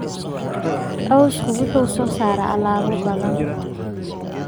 Cawsku wuxuu soo saaraa alaabo badan.